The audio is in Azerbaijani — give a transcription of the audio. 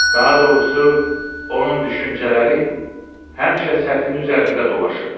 Daha doğrusu, onun düşüncələri həmişə səthin üzərində dolaşırdı.